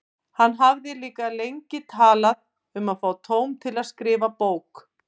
Hann hafði líka lengi talað um að fá tóm til að skrifa bók.